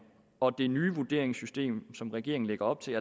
og det nye vurderingssystem som regeringen lægger op til